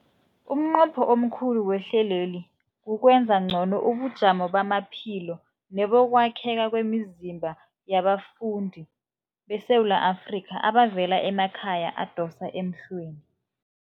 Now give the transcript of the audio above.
Umnqopho omkhulu wehlelweli kukwenza ngcono ubujamo bamaphilo nebokwakhela kwemizimba yabafundi beSewula Afrika abavela emakhaya adosa emhlweni.